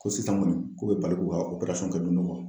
Ko sisan kɔni k'u bɛ barik'u ka